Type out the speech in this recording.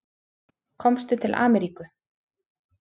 Komstu til Ameríku?